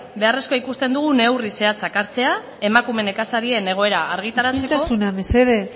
beharrezkoa ikusten dugu neurri zehatzak hartzea emakume nekazarien egoera argitaratzeko isiltasuna mesedez